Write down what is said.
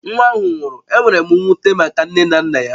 Nwa ahụ nwụrụ, enwere m mwute maka nne na nna ya